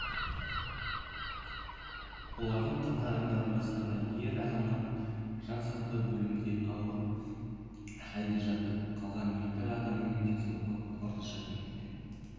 олардың қатарындағы жастаға ер азамат жансақтау бөлімінде ауыр халде жатыр қалған екі адамның денсаулығы орташа деңгейде